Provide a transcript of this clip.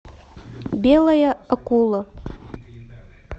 белая акула